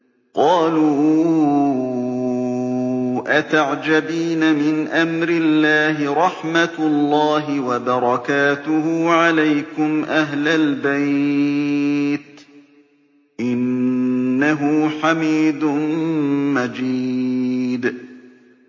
قَالُوا أَتَعْجَبِينَ مِنْ أَمْرِ اللَّهِ ۖ رَحْمَتُ اللَّهِ وَبَرَكَاتُهُ عَلَيْكُمْ أَهْلَ الْبَيْتِ ۚ إِنَّهُ حَمِيدٌ مَّجِيدٌ